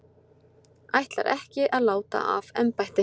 Ætlar ekki að láta af embætti